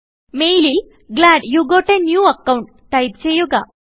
മെയിലിൽ glad you got a new account type ചെയ്യുക